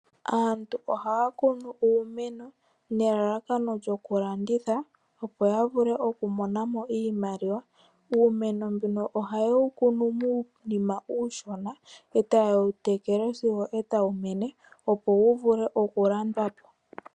Aantu ohaya kunu uumeno nelalakano lyokulanditha, opo ya vule okumona mo iimaliwa. Uumeno mbuno ohaye wu kunu muunima uushona, e taye wu tekele sigo e tawu mene opo wu vule okulandwa po.